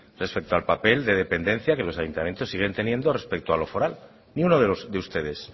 respecto al papel de dependencia que los ayuntamientos siguen teniendo respecto a lo foral ni uno de ustedes